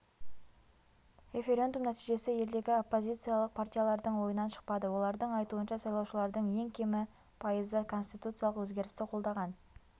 референдум нәтижесі елдегі оппозициялық партиялардың ойынан шықпады олардың айтуынша сайлаушылардың ең кемі пайызы конституциялық өзгерісті қолдаған